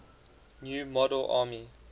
new model army